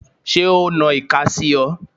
Ṣé o na ìka sí ọ?